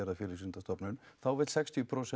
af Félagsvísindastofnun þá vill sextíu prósent